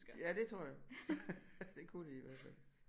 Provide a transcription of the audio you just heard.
Ja det tror jeg det kunne de i hvert fald